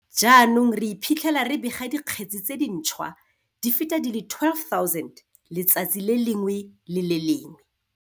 Jaanong re iphitlhela re bega dikgetse tse dintšhwa di feta di le 12 000 letsatsi le lengwe le le lengwe.